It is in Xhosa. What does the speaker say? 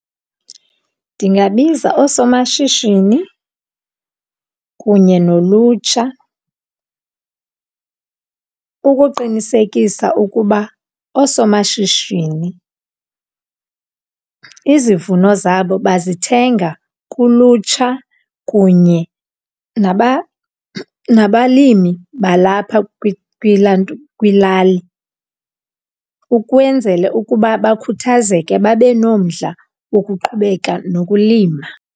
Ndingabiza oosomashishini kunye nolutsha ukuqinisekisa ukuba oosomashishini izivuno zabo bazithenga kulutsha kunye naba nabalimi balapha kwilali. Ukwenzele ukuba bakhuthazeke babe nomdla wokuqhubeka nokulima.